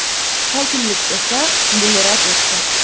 Hokimlik esa buni rad etdi.